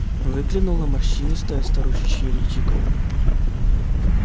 выглянуло морщинистое старушечье личико